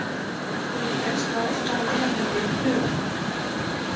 Helsta ástæðan er held ég hugarfar.